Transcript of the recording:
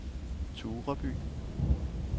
Tureby